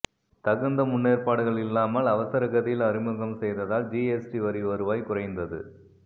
தகுந்த முன்னேற்பாடுகள் இல்லாமல் அவசர கதியில் அறிமுகம் செய்ததால் ஜிஎஸ்டி வரி வருவாய் குறைந்தது